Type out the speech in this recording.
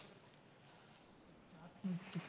હમ